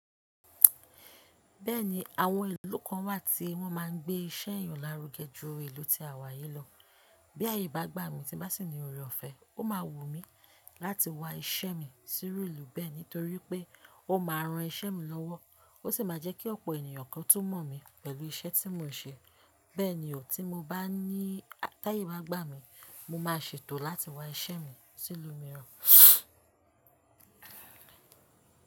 Bẹ́ẹ̀ni, àwọn ìlú kan wà tí wọ́n máa ń gbé iṣẹ́ yan lárugẹ ju ìlú tí àwa yìí lọ. Bí àyè bá gbà mí tí bá sì ní òré ọ̀fẹ́, ó máa wù mí láti wá iṣẹ́ mi sí iru ìlú bẹ́ẹ̀ nítorí pé ó máa ran iṣẹ́ mi lọ́wọ́, ó sì máa jẹ́ kí ọ̀pọ̀ ènìyàn kan tún mọ̀ mí pẹ̀lú iṣẹ́ tí mò ń ṣe. Bẹ́ẹ̀ ni, tí mo bá ní, táyè bá gbà mí, mo máa ṣètò láti wá iṣẹ́ mi sí ìlú mìíràn.